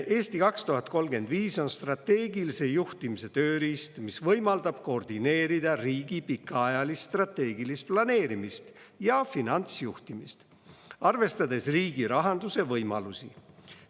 "Eesti 2035" on strateegilise juhtimise tööriist, mis võimaldab koordineerida riigi pikaajalist strateegilist planeerimist ja finantsjuhtimist, arvestades riigi rahanduse võimalusi.